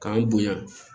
K'an bonya